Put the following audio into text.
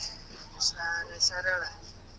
ಸರಿ ಸರಿ ಹೇಳ್.